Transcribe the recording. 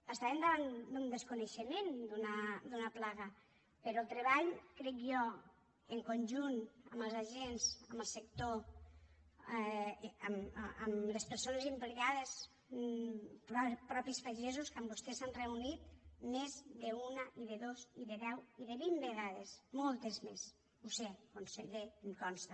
estàvem davant d’un desconeixement d’una plaga però el treball crec jo en conjunt amb els agents amb el sector amb les persones implicades els mateixos pagesos que amb vostès s’han reunit més d’una i de dos i de deu i de vint vegades moltes més ho sé conseller i em consta